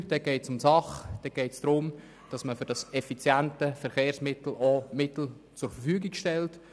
Bei Punkt 3 geht es darum, dass man für dieses effiziente Verkehrsmittel auch Mittel zu Verfügung stellt.